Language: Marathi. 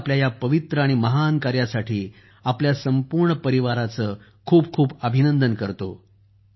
मी आपल्या या पवित्र कार्य आणि महान कार्यासाठी आपल्या संपूर्ण परिवाराचं खूप खूप अभिनंदन करतो